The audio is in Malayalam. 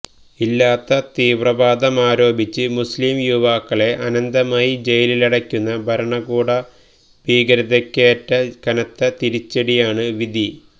ഇല്ലാത്ത തീവ്രവാദമാരോപിച്ച് മുസ്ലിം യുവാക്കളെ അനന്തമായി ജയിലിലടയ്ക്കുന്ന ഭരണകൂടഭീകരതയ്ക്കേറ്റ കനത്ത തിരിച്ചടിയാണ് വിധി